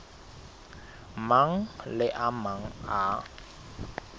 mang le a mang a